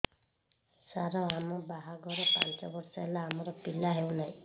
ସାର ଆମ ବାହା ଘର ପାଞ୍ଚ ବର୍ଷ ହେଲା ଆମର ପିଲା ହେଉନାହିଁ